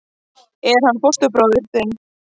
Er hann fóstbróðir þinn?